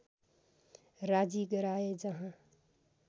राजी गराए जहाँ